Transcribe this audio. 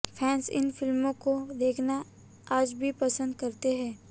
fans इन फिल्मों को देखना आज भी पसंद करते हैं